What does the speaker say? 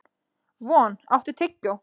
Von, áttu tyggjó?